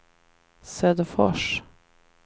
Söderfors